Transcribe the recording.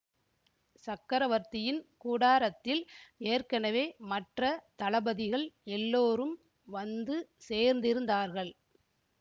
சக்கரவர்த்தியின் கூடாரத்தில் ஏற்கெனவே மற்ற தளபதிகள் எல்லோரும் வந்து சேர்ந்திருந்தார்கள்